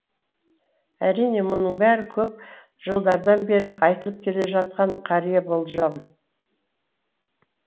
әрине мұның бәрі көп жылдардан бері айтылып келе жатқан қария болжам